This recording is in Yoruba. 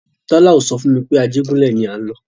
Tọ́la ò so fún mi pé Ajégúnlẹ̀ ni à ń lọ.